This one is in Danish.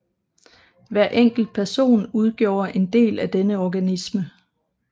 Hver enkelt person udgjorde en del af denne organisme